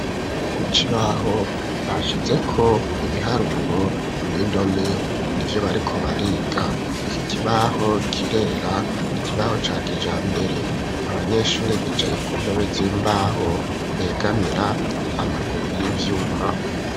ku kibaho, bashyizeko ,ibiharuro n'indome nibyo bariko bariga, iki kibaho kirera, ni kibaho ca kijambere abanyeshuri bicaye ku ntebe z'imbaho begamira amaguru y'ivyuma.